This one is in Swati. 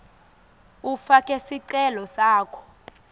ufake sicelo sakho